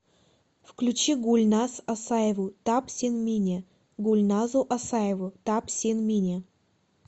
включи гульназ асаеву тап син мине гульназу асаеву тап син мине